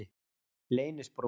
Leynisbrún